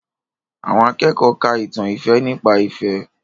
Àwọn akẹ́kọ̀ọ́ ka ìtàn ìfẹ́ nípa ìfẹ́